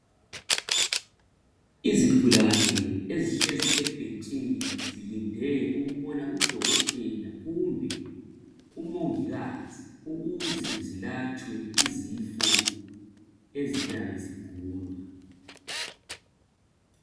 Izigulane ezihlezi ebhentshini zilinde ukubona udokotela kumbe umongikazi ukuze zilatshwe izifo eziyabe zigulwa.